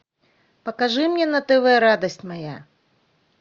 покажи мне на тв радость моя